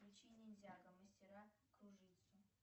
включи ниндзяго мастера кружитцу